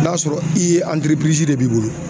N'a sɔrɔ i ye de b'i bolo.